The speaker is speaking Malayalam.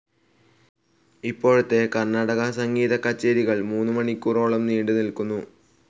ഇപ്പോഴത്തെ കർണാടകസംഗീതക്കച്ചേരികൾ മൂന്ന് മണിക്കൂറോളം നീണ്ട് നിൽക്കുന്നു.